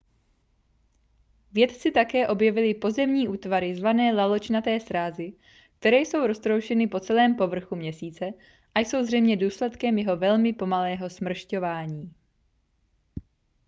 vědci také objevili pozemní útvary zvané laločnaté srázy které jsou roztroušeny po celém povrchu měsíce a jsou zřejmě důsledkem jeho velmi pomalého smršťování